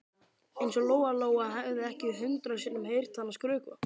Eins og Lóa Lóa hefði ekki hundrað sinnum heyrt hana skrökva.